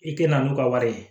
I tɛna n'u ka wari ye